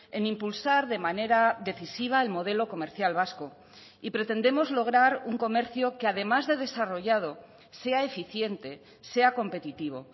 en impulsar de manera decisiva el modelo comercial vasco y pretendemos lograr un comercio que además de desarrollado sea eficiente sea competitivo